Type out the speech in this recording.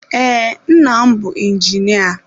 Ee, nna m bụ injinia.